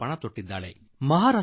ಪ್ರತಿಜ್ಞೆ ಕೈಗೊಂಡಿದ್ದಾರೆ